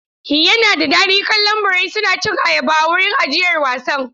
Yana da daɗi kallon birai suna cin ayaba a wurin ajiyar wasan.